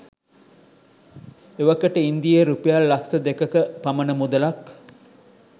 එවකට ඉන්දීය රුපියල් ලක්ෂ දෙකක පමණ මුදලක්